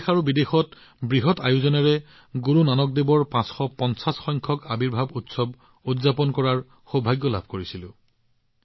আমি দেশ আৰু বিদেশত বৃহৎ পৰিমাণে গুৰু নানক দেৱজীৰ ৫৫০ তম প্ৰকাশ পৰ্ব উদযাপন কৰাৰ সৌভাগ্য লাভ কৰিছিলো